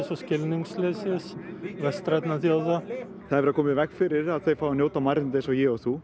og skilningsleysis vestrænna þjóða það er verið að koma í veg fyrir að þau fái að njóta mannréttinda eins og ég og þú